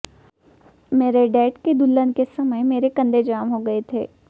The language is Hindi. मेरे डैड की दुल्हन के समय मेरे कंधे जाम हो गए थे